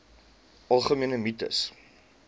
algemene mites